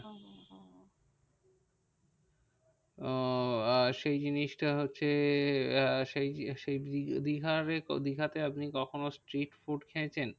আহ সেই জিনিসটা হচ্ছে আহ সেই দীঘার এ দীঘাতে আপনি কখনো street food খেয়েছেন?